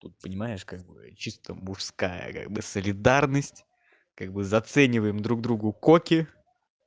тут понимаешь как бы чисто мужская как бы солидарность как бы зацениваем друг другу коки